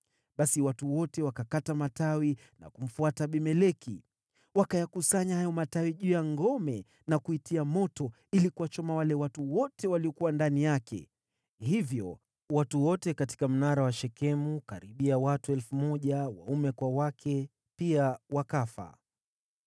Basi watu wote wakakata matawi na kumfuata Abimeleki. Wakayakusanya hayo matawi juu ya ngome na kuitia moto ili kuwachoma wale watu wote waliokuwa ndani yake. Hivyo watu wote katika mnara wa Shekemu, karibia watu 1,000 waume kwa wake, pia wakafa.